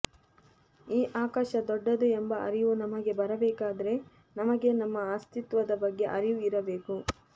ಈ ಆಕಾಶ ದೊಡ್ಡದು ಎಂಬ ಅರಿವು ನಮಗೆ ಬರಬೇಕಾದರೆ ನಮಗೆ ನಮ್ಮ ಅಸ್ತಿತ್ವದ ಬಗ್ಗೆ ಅರಿವು ಇರಬೇಕು